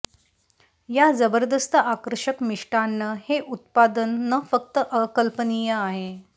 या जबरदस्त आकर्षक मिष्टान्न हे उत्पादन न फक्त अकल्पनीय आहे